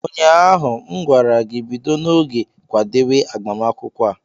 Ụnyaahụ m gwara gị, bido n'oge kwadewe agbamakwụkwọ a!